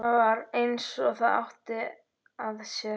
Það var eins og það átti að sér.